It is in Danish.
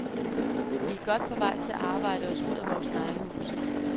Vi er godt på vej til at arbejde os ud af vores sneglehus.